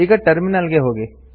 ಈಗ ಟರ್ಮಿನಲ್ ಗೆ ಹೋಗಿ